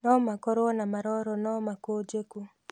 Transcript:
nũmakorũo na maroro no makũnjeku.